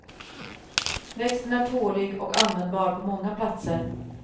Växten är tålig och användbar på många platser.